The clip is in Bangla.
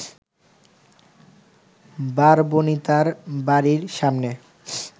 বারবণিতার বাড়ির সামনে